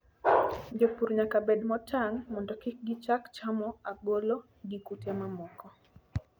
Jopur nyaka bed motang' mondo kik gichak chamo ogolo gi kute mamoko.